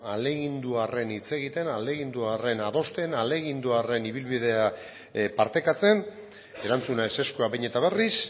ahalegindu arren hitz egiten ahalegindu arren adosten ahalegindu arren ibilbidea partekatzen erantzuna ezezkoa behin eta berriz